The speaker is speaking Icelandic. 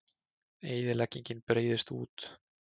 Eyðileggingin breiðist út